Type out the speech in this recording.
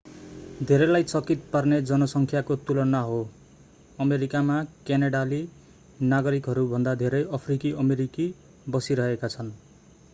धेरैलाई चकित पार्ने जनसङ्ख्याको तुलना हो अमेरिकामा क्यानेडाली नागरिकहरूभन्दा धेरै अफ्रिकी अमेरिकी बसिरहेका छन्